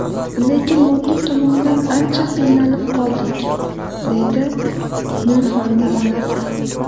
Lekin moddiy tomondan ancha qiynalib qoldik”, deydi Nilufarning onasi.